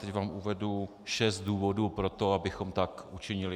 Teď vám uvedu šest důvodů pro to, abychom tak učinili.